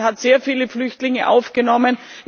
Auch Ungarn hat sehr viele Flüchtlinge aufgenommen.